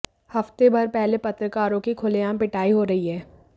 हफ्ते भर पहले पत्रकारों की खुलेआम पिटाई हो रही है